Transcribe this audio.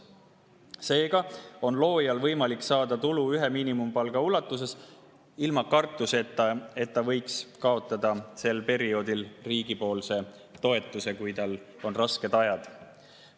Seega on loojal võimalik saada tulu ühe miinimumpalga ulatuses ilma kartuseta, et ta võiks kaotada riigi toetuse sel perioodil, kui tal on rasked ajad.